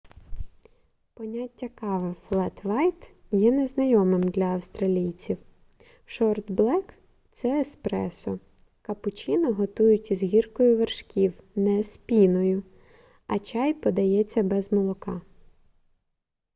поняття кави флет-вайт є незнайомим для австралійців. шорт блек – це еспресо капучино готують із гіркою вершків не з піною а чай подається без молока